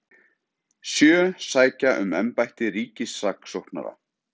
Sjö sækja um embætti ríkissaksóknara